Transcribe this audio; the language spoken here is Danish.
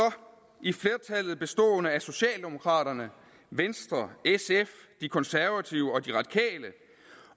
i flertallet bestående af socialdemokraterne venstre sf de konservative og de radikale